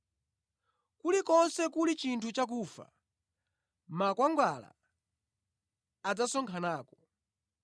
Kulikonse kuli chinthu cha kufa, makwangwala adzasonkhanako.